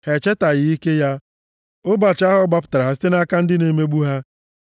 Ha echetaghị ike ya, ụbọchị ahụ ọ gbapụtara ha site nʼaka ndị na-emegbu ha;